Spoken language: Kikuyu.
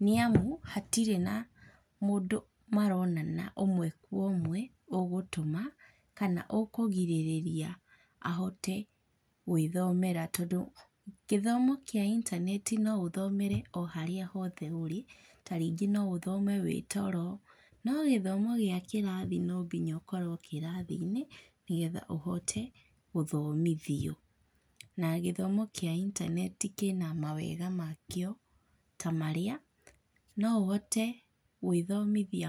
nĩ amu hatirĩ na mũndũ maronana ũmwe kwa ũmwe, ũgũtũma kana ũkũgirĩrĩria ahote gwĩthomera. Tondũ gĩthomo kĩa intaneti no ũthomere o harĩa hothe ũrĩ, ta rĩngĩ no ũthome wĩ toro. No gĩthomo gĩa kĩrathi no nginya ũkorwo kĩrathi-inĩ nĩ getha ũhote gũthomithio. Na gĩthomo kĩa intaneti kĩna mawega makĩo ta marĩa no ũhote gwĩthomithia.